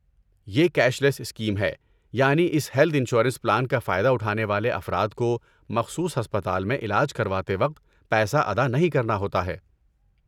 یہ cashless scheme ہے، یعنی اس ہیلتھ انشورنس پلان کا فائدہ اٹھانے والے افراد کو مخصوص ہسپتال میں علاج کرواتے وقت پیسہ ادا نہیں کرنا ہوتا ہے۔